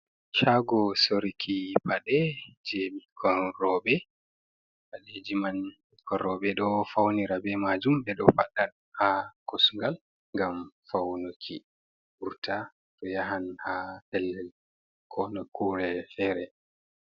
Shago soruki paɗe je ɓikkon robe ɓaleji man ɓikkon roɓe ɗo faunira be majum ɓeɗo fadda ha kosgal ngam faunuki wurta to yahan ha pellel ko nokkure fere.